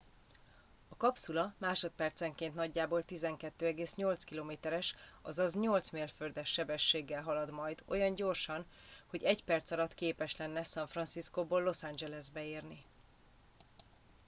a kapszula másodpercenként nagyjából 12,8 km es azaz 8 mérföldes sebességgel halad majd olyan gyorsan hogy egy perc alatt képes lenne san franciscóból los angelesbe érni